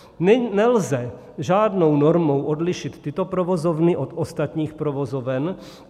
Nelze žádnou normou odlišit tyto provozovny od ostatních provozoven.